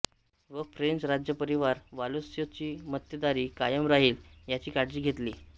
व फ्रेंच राज्यपरिवार वॉलोय्स ची मक्तेदारी कायम राहील याची काळजी घेतली